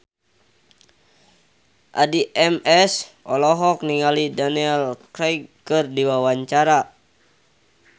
Addie MS olohok ningali Daniel Craig keur diwawancara